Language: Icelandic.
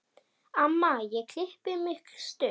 Amma ég klippi mig stutt.